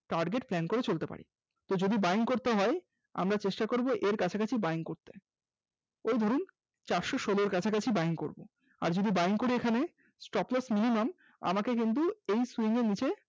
target plan করে চলতে পারি যদি buying করতে হয় আমরা চেষ্টা করব এর কাছাকাছি buying করতে এই ধরুন চারশ ষোলর কাছাকাছি buying করব, আর যদি Buying করি এখানে stop loss minimum আমাকে কিন্তু এই swing এর নিচে